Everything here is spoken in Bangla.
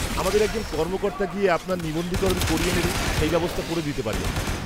-আমাদের একজন কর্মকর্তা গিয়ে আপনার নিবন্ধীকরণ করিয়ে নেবে সেই ব্যবস্থা করে দিতে পারি আমরা।